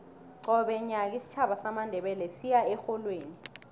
qobe nyaka isitjhaba samandebele siya erholweni